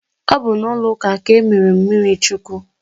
Ọ bụ n'ụlọ ụka a ka e mere m mmiri chukwu